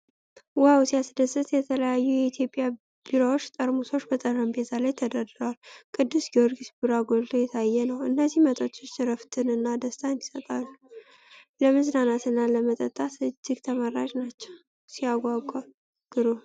ዋው ሲያስደስት! የተለያዩ የኢትዮጵያ ቢራዎች ጠርሙሶች በጠረጴዛ ላይ ተደርድረዋል። ቅዱስ ጊዮርጊስ ቢራ ጎልቶ የታየ ነው። እነዚህ መጠጦች እረፍትን እና ደስታን ይሰጣሉ። ለመዝናናት እና ለመጠጣት እጅግ ተመራጭ ናቸው። ሲያጓጓ ግሩም!